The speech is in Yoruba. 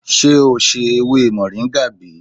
Sé e o ṣe ewé moringa bi?